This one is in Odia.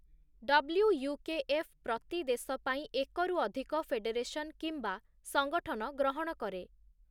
ଡବ୍‌ଲ୍ୟୁୟୁକେଏଫ ପ୍ରତି ଦେଶ ପାଇଁ ଏକରୁ ଅଧିକ ଫେଡେରେସନ୍ କିମ୍ବା ସଙ୍ଗଠନ ଗ୍ରହଣ କରେ ।